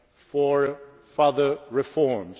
for further reforms?